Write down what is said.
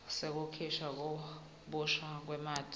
sekukhishwa kabusha kwamatisi